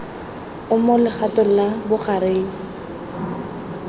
o mo legatong la bogareng